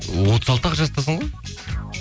отыз алты ақ жастасың ғой